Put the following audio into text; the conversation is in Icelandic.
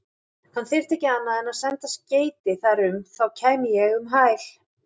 Hann þyrfti ekki annað en senda skeyti þar um, þá kæmi ég um hæl.